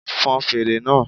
Fon fèrè náà